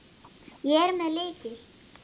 Ég er með lykil.